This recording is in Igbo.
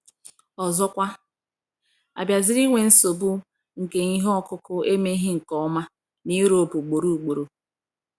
Ọzọkwa, a bịaziri nwee nsogbu nke ihe ọkụkụ emeghị nke ọma na Europe ugboro ugboro.